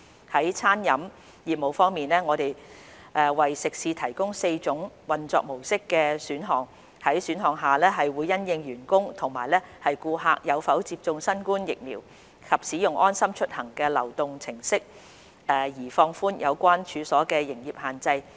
在餐飲業務方面，我們為食肆提供4種運作模式的選項，在選項下會因應員工和顧客有否接種新冠疫苗及使用"安心出行"流動應用程式而放寬有關處所的營業限制。